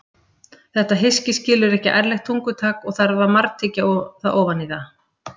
Þetta hyski skilur ekki ærlegt tungutak og þarf að margtyggja ofan í það.